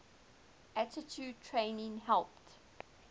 altitude training helped